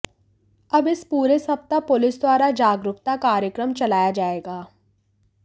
अब इस पूरे सप्ताह पुलिस द्वारा जागरूकता कार्यक्रम चलाया जाएगा